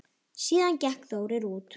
Síðan gekk Þórir út.